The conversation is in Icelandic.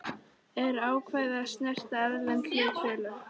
eru ákvæði sem snerta erlend hlutafélög.